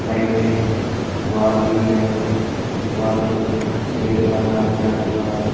Side में दोवाल हुई है दोवाल पर सुफेद कलर का पेंट हुआ है।